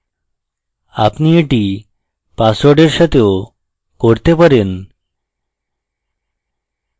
আপনি এটি পাসওওয়ার্ডের সাথেও করতে পারেন